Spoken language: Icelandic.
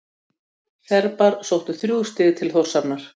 Serbar sóttu þrjú stig til Þórshafnar